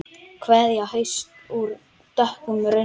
Kveðja hausts úr dökkum runni.